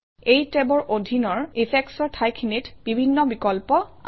এই টেবৰ অধীনৰ Effects অৰ ঠাইখিনিত বিভিন্ন বিকল্প আছে